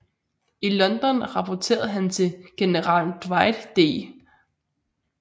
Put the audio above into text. I London rapporterede han til general Dwight D